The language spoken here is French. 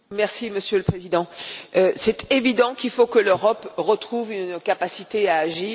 Monsieur le Président, c'est évident qu'il faut que l'Europe retrouve une capacité d'agir